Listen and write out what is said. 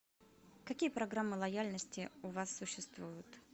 какие программы лояльности у вас существуют